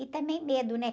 E também medo, né?